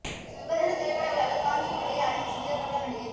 சர்வதேச திரைப்பட விழாவில் காஞ்சி புடவையை அணிந்து சென்ற பிரபல நடிகை